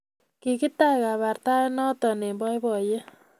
Kigitach kabartaet noto eng boiboiyet